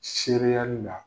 Seereyali la.